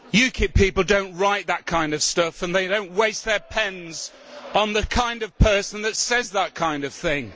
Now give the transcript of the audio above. UKIP people do not write that kind of stuff, and they do not waste their pens on the kind of person that says that kind of thing.